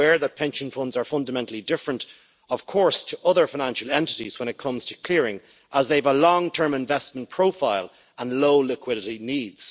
I am aware that pension funds are fundamentally different to other financial entities when it comes to clearing, as they have a long-term investment profile and low liquidity needs.